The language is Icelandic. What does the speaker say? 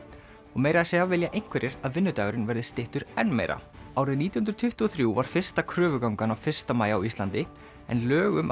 og meira að segja vilja einhverjir að vinnudagurinn verði styttur enn meira árið nítján hundruð tuttugu og þrjú var fyrsta kröfugangan á fyrsta maí á Íslandi en lög um